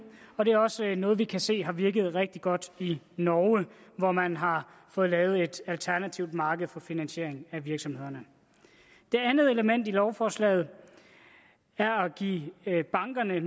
og det er også noget vi kan se har virket rigtig godt i norge hvor man har fået lavet et alternativt marked for finansiering af virksomhederne det andet element i lovforslaget er at give bankerne